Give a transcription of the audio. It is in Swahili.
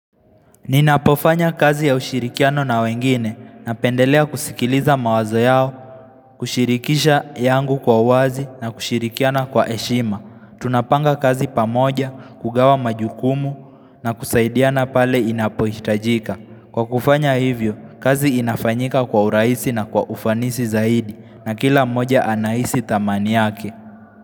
Ninapofanya kazi ya ushirikiano na wengine napendelea kusikiliza mawazo yao, kushirikisha yangu kwa wazi na kushirikiana kwa heshima. Tunapanga kazi pamoja, kugawa majukumu na kusaidiana pale inapohitajika. Kwa kufanya hivyo, kazi inafanyika kwa urahisi na kwa ufanisi zaidi na kila moja anahisi thamani yake.